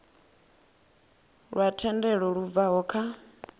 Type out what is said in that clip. lwa thendelo lu bvaho kha